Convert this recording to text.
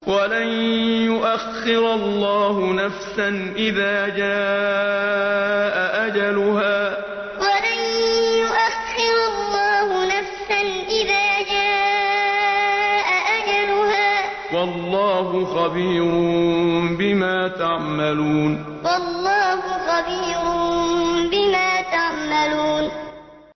وَلَن يُؤَخِّرَ اللَّهُ نَفْسًا إِذَا جَاءَ أَجَلُهَا ۚ وَاللَّهُ خَبِيرٌ بِمَا تَعْمَلُونَ وَلَن يُؤَخِّرَ اللَّهُ نَفْسًا إِذَا جَاءَ أَجَلُهَا ۚ وَاللَّهُ خَبِيرٌ بِمَا تَعْمَلُونَ